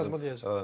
Hə, yadıma düşdü.